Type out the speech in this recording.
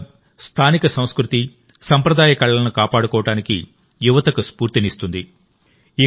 ఈ క్లబ్ స్థానిక సంస్కృతి సంప్రదాయ కళలను కాపాడుకోవడానికి యువతకు స్ఫూర్తినిస్తుంది